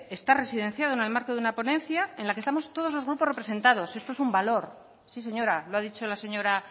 está residenciado en el marco de una ponencia en la que estamos todos los grupos representados esto es un valor sí señora lo ha dicho la señora